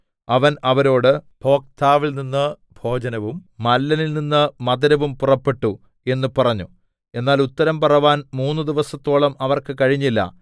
അവൻ അവരോട് ഭോക്താവിൽനിന്ന് ഭോജനവും മല്ലനിൽനിന്ന് മധുരവും പുറപ്പെട്ടു എന്ന് പറഞ്ഞു എന്നാൽ ഉത്തരം പറവാൻ മൂന്നു ദിവസത്തോളം അവർക്ക് കഴിഞ്ഞില്ല